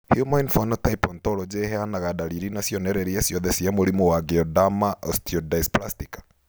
Human Phenotype Ontology ĩheanaga ndariri na cionereria ciothe cia mũrimũ wa Geroderma osteodysplastica?